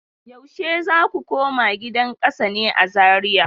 Yaushe za ku koma gidan kasa ne a Zariya?